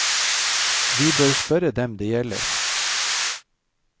Vi bør spørre dem det gjelder.